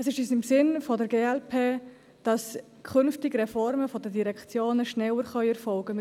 Es ist im Sinn der glp, dass künftig Reformen der Direktionen schneller erfolgen können.